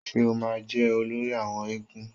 Ṣé o ma jẹ́ olórí àwọn éégún?